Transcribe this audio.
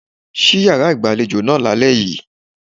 Ṣí yàrá ìgbàlejò náà lálẹ́ yìí.